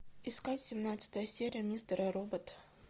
искать семнадцатая серия мистера робот